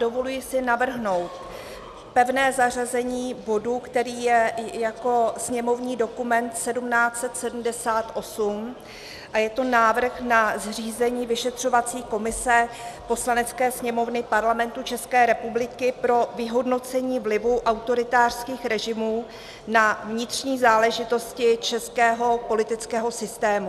Dovoluji si navrhnout pevné zařazení bodu, který je jako sněmovní dokument 1778, a je to návrh na zřízení vyšetřovací komise Poslanecké sněmovny Parlamentu České republiky pro vyhodnocení vlivu autoritářských režimů na vnitřní záležitosti českého politického systému.